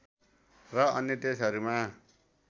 र अन्य देशहरूमा